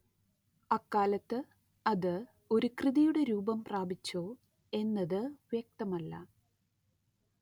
അക്കാലത്ത്‌ അത്‌ ഒരു കൃതിയുടെ രൂപം പ്രാപിച്ചോ എന്നത് വ്യക്തമല്ല